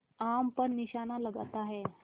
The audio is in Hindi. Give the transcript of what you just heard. आम पर निशाना लगाता है